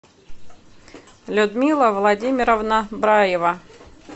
людмила владимировна браева